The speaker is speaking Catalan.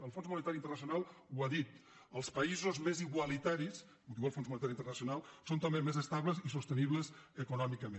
el fons monetari internacional ho ha dit els països més igualitaris ho diu el fons monetari internacional són també més estables i sostenibles econòmicament